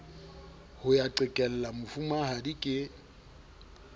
ho ya qhekella mofumahadi ke